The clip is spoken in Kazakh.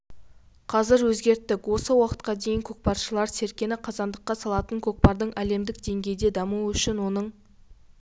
қазір өзгерттік осы уақытқа дейін көкпаршылар серкені қазандыққа салатын көкпардың әлемдік деңгейде дамуы үшін оның